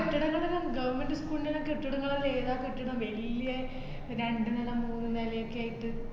കെട്ടിടങ്ങളൊക്കെ government school ന്‍റെന്നെ കെട്ടിടങ്ങളെല്ലാ ഏതാ കെട്ടിടം വല്യെ രണ്ട് നില മൂന്ന് നിലേക്കെ ആയിട്ട്